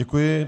Děkuji.